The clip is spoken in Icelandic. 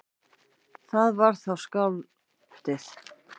Það var þá skáldið.